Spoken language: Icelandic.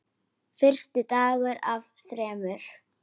Fyrsti dagur af þremur.